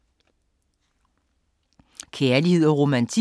Kærlighed & romantik